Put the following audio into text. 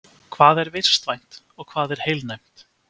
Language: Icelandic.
Hvað er vistvænt og hvað er heilnæmt?